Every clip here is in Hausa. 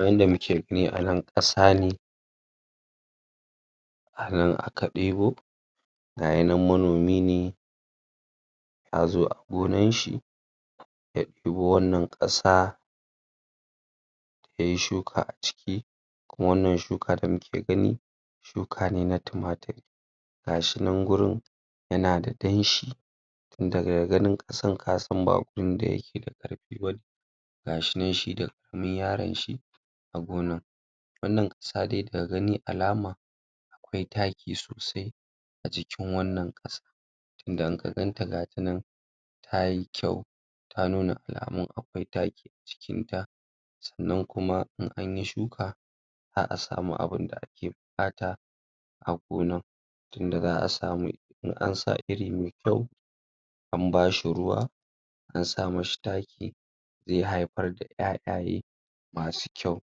A yanda muke gani a nan ƙasa ne a nan aka ɗebo ga yi nan manomi ne ta zo a gonan shi ya ɗebo wannan ƙasa yayi shuka a ciki kuma wannan shuka da muke gani shuke ne na tumatir ga shi nan gurin yana da danshi tun daga ganin ƙasan ka san ba guri da yake da ƙarfi bane ga shi nan shi da kaman yaran shi a gona wannan ƙasa dai daga gani alama akwai taki sosai a jikn wannan ƙasa tunda in ka gan ta gata nan tayi kyau ta nuna alamun akwai taki jikin ta sannan kuma in an yi shuka za'a samu abinda ake buƙata a gonan tunda za'a samu in an sa iri me kyau an ba shi ruwa an sa mishi taki zai haifar da ƴaƴaye masu kyau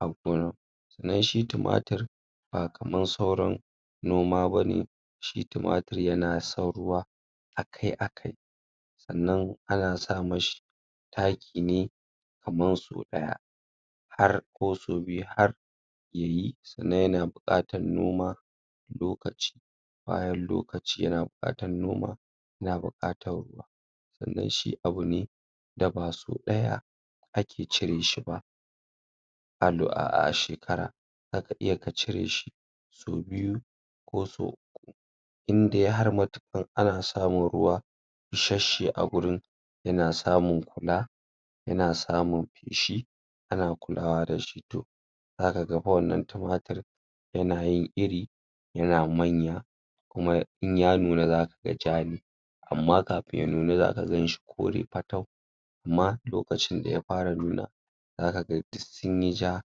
a gonan sannan shi tumatir ba kaman sauran noma bane shi tumatir yana son ruwa akai-akai sannan ana sa mashi taki ne kaman sau ɗaya har ko sau biyu har yayi, sannan yana buƙatan noma lokaci bayan lokaci yana buƙatan noma yana buƙatan sannan shi abu ne da ba sau ɗaya ake cire shi ba a shekara zaka iya ka cire shi sau biyu ko sau uku indai har matuƙan ana samun ruwa isashe a gurin yana samun kula yana samun feshi ana kulawa da shi to zaka ga fa wannan tumatir yana yin iri yana manya kuma in ya nuna zaka ga ja ne amma kafin ya nuna zaka gan shi kore fatau amma lokacin da ya fara nuna zaka ga duk sun yi ja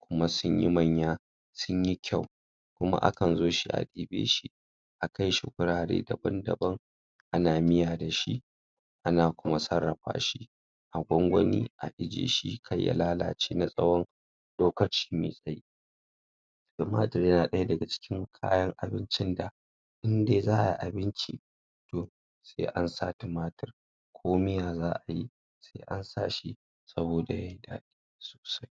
kuma sun yi manya, sun yi kyau kuma akan zo shi a ɗibe shi a kai shi gurare daban-daban ana miya da shi ana kuma sarrafa shi a gwangwani a ijiye shi kar ya lalace na tsawon lokaci mai tsayi tumatir yana ɗaya daga cikin kayan abincin da in dai za'ai abinci to sai an sa tumatir ko miya za'a yi sai an sa shi saboda yayi daɗi sosai.